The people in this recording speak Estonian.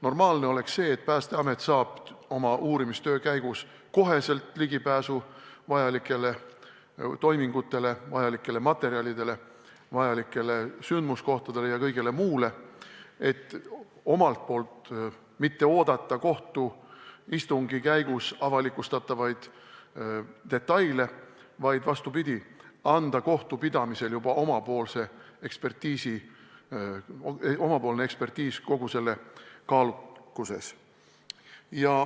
Normaalne oleks see, et Päästeamet saab oma uurimistöö käigus otsekohe ligipääsu vajalikele toimingutele, vajalikele materjalidele, vajalikele sündmuskohtadele ja kõigele muule, et mitte oodata kohtuistungi käigus avalikustatavaid detaile, vaid vastupidi, anda kohtupidamisel juba oma ekspertiis kogu selle kaalukuses.